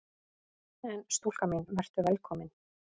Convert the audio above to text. En stúlka mín: Vertu velkomin!